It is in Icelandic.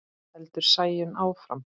heldur Sæunn áfram.